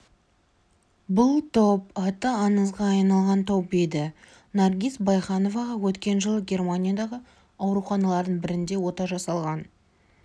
бұл топ аты аңызға айналған топ еді наргиз байхановаға өткен жылы германиядағы ауруханалардың бірінде ота жасалған